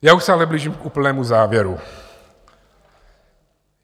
Já už se ale blížím k úplnému závěru.